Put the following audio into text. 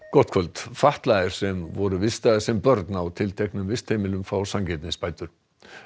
gott kvöld fatlaðir sem voru vistaðir sem börn á tilteknum vistheimilum fá sanngirnisbætur